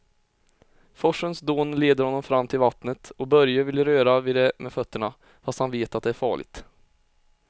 Forsens dån leder honom fram till vattnet och Börje vill röra vid det med fötterna, fast han vet att det är farligt.